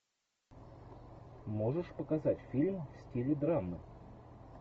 можешь показать фильм в стиле драмы